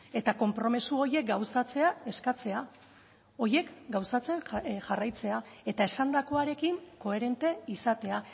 eta konpromiso horiek gauzatzea eskatzea horiek gauzatzen jarraitzea eta esandakoarekin koherente izatea